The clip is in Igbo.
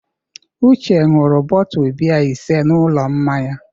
Uche ṅụrụ bọtu biya ise n'ụlọ mmanya.